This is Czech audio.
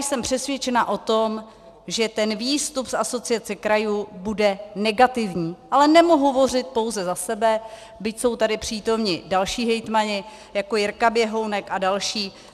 Jsem přesvědčena o tom, že ten výstup z Asociace krajů bude negativní, ale nemohu hovořit pouze za sebe, byť jsou tady přítomni další hejtmani, jako Jirka Běhounek a další.